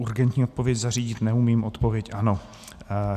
Urgentní odpověď zařídit neumím, odpověď ano.